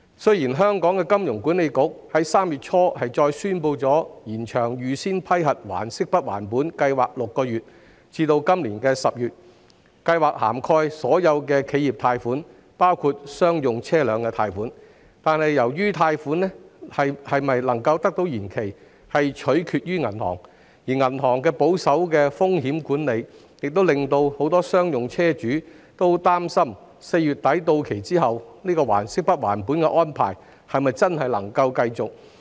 雖然香港金融管理局於3月初宣布再延長"預先批核還息不還本"計劃6個月至今年10月，而該計劃涵蓋所有企業貸款，包括商用車輛貸款，但貸款能否延期取決於銀行，而銀行採取保守的風險管理，故此很多商用車主擔心在貸款於4月底到期後，"還息不還本"的安排是否真的能夠繼續。